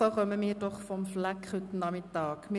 So kommen wir heute Nachmittag vom Fleck.